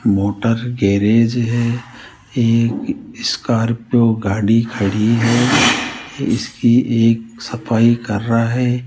Motor garage है एक Scorpio गाड़ी खड़ी है इसकी एक सफाई कर रहा है।